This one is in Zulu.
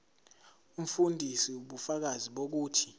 umfundisi ubufakazi bokuthi